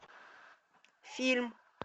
фильм